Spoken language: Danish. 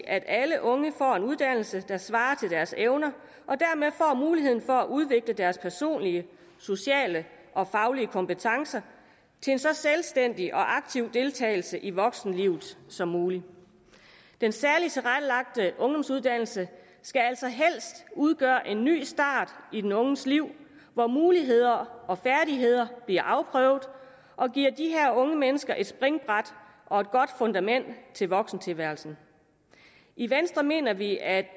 at alle unge får en uddannelse der svarer til deres evner og muligheden for at udvikle deres personlige sociale og faglige kompetencer til en så selvstændig og aktiv deltagelse i voksenlivet som muligt den særligt tilrettelagte ungdomsuddannelse skal altså helst udgøre en ny start i den unges liv hvor muligheder og færdigheder bliver afprøvet og giver de her unge mennesker et springbræt og et godt fundament til voksentilværelsen i venstre mener vi at